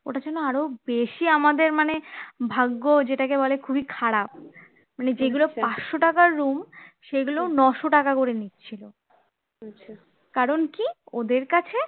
ওটার জন্য আরও বেশি আমাদের মানে ভাগ্য যেটাকে বলে খুবই খারাপ মানে যেগুলো পাঁচশ টাকার room সেগুলো নয়শ টাকা করে নিচ্ছিল কারণ কি ওদের কাছে